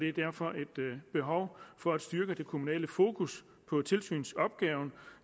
er derfor et behov for at styrke det kommunale fokus på tilsynsopgaven